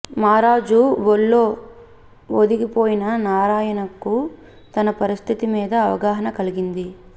మారాజు వొళ్లో వొదిగిపోయిన నారాయణకు తన పరిస్థితి మీద అవగాహన కలిగింది